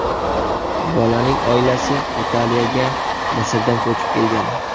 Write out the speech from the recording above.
Bolaning oilasi Italiyaga Misrdan ko‘chib kelgan.